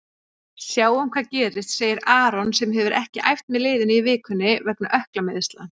Sjáum hvað gerist, segir Aron sem hefur ekki æft með liðinu í vikunni vegna ökklameiðsla.